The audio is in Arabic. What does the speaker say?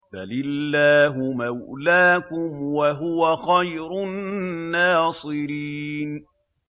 بَلِ اللَّهُ مَوْلَاكُمْ ۖ وَهُوَ خَيْرُ النَّاصِرِينَ